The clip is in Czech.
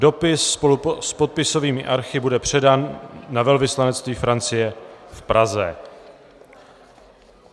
Dopis s podpisovými archy bude předán na velvyslanectví Francie v Praze.